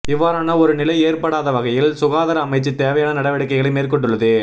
இவ்வாறான ஒரு நிலை ஏற்படாத வகையில் சுகாதார அமைச்சு தேவையான நடவடிக்கைகளை மேற்கொண்டுள்ளது